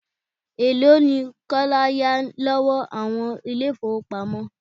Elo ni Kọ́lá yá lọ́wọ́ àwọn ilé ifowopamo?